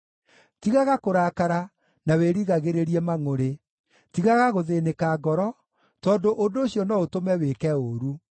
Tigaga kũrakara na wĩrigagĩrĩrie mangʼũrĩ; tigaga gũthĩĩnĩka ngoro, tondũ ũndũ ũcio no ũtũme wĩke ũũru.